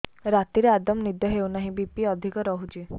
ରାତିରେ ଆଦୌ ନିଦ ହେଉ ନାହିଁ ବି.ପି ଅଧିକ ରହୁଛି